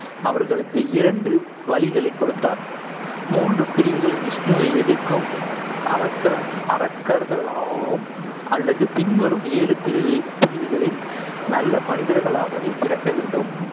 அவர்களுக்கு இரண்டு வழிகளைக் கொடுத்தார் மூன்று பிரிவுகளில் விஷ்ணுவை எதிர்க்கும் அரக்கர்~ அரக்கர்களாகவும் அல்லது பின்வரும் ஏழு பிரிவு~ பிரிவுகளில் நல்ல மனிதர்களாகவே பிறக்க வேண்டும்.